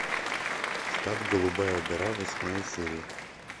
штат голубая гора восьмая серия